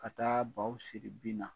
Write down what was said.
Ka taa baw siri bin na.